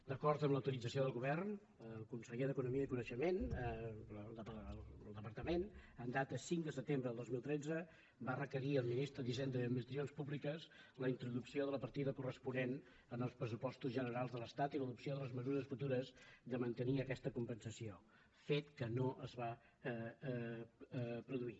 d’acord amb l’autorització del govern el conseller d’economia i coneixement el departament en data cinc de setembre de dos mil tretze va requerir al ministre d’hisenda i administracions públiques la introducció de la partida corresponent als pressupostos generals de l’estat i l’adopció de les mesures futures de mantenir aquesta compensació fet que no es va produir